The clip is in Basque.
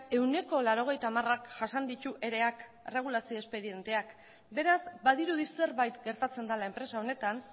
ehuneko laurogeita hamarak jasan ditu ereak erregulazio espedienteak beraz badirudi zerbait gertatzen dela enpresa honetan